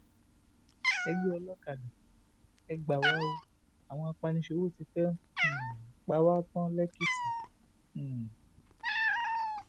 ẹgbẹ olókadá e gbà wá o àwọn apaniṣòwò tí fẹ́ um pa wá tán lékìtì um